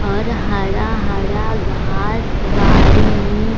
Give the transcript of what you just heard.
और हरा-हरा घास बाड़ी |